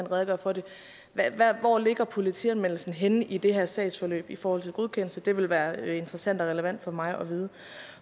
redegøre for det hvor ligger politianmeldelsen henne i det her sagsforløb i forhold til godkendelse det ville være interessant og relevant for mig at vide